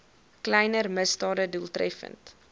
kleiner misdade doeltreffend